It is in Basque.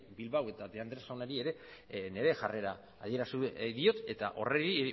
bilbao eta de andrés jaunari ere nire jarrera adierazi diot eta horri